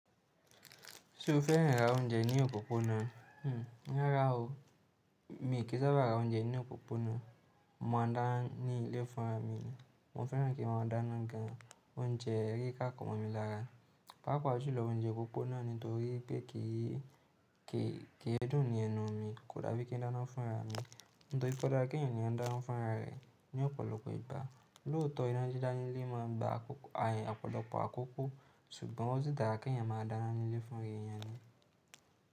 Ṣé o féràn ra oúnjẹ ní òpópónà? Hhm, rara o. Mi kì í sábà ra oúnjẹ ní òpópónà. Mo má a dáná ní ilé fún ara mi. Mo féràn kí wọ́n dá iná gan. Oúnjẹ rí ká kàn mọ́ mi lára. Paapaa julo, oúnjẹ òpópónà nítorí pé kì í dúnni lẹnu mi, kódà bí kí n dáná fún ara mi. Nítorí pé ọ̀da kí ènìyàn dáná fún ara rẹ̀ ní ọ̀pọ̀lọpọ̀ ìgbà. Lóòótọ́ ìna dida lè máa gba ayàn ọ̀pọ̀lọpọ̀ àkókò ṣùgbọ́n ó sì dára kí èeyàn máa dáná ní ilé fún ra èeyàn ni.